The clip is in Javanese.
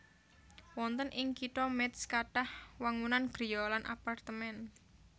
Wonten ing Kitha Métz kathah wangunan griya lan apartemén